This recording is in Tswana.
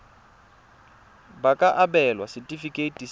ba ka abelwa setefikeiti sa